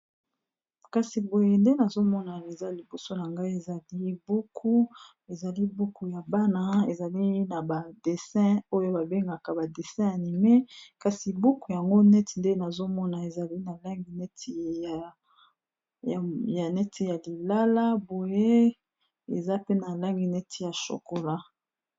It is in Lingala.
Kasi boye nde nazomona eza liboso na ngai ezali buku ezali buku ya bana ezali na ba dessin oyo babengaka ba dessin animé kasi buku yango neti nde nazomona ezali na langi neti ya lilala boye eza pe na langi neti ya shokola.